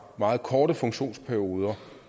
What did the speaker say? meget korte funktionsperioder